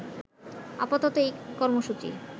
আপাতত এই কর্মসূচি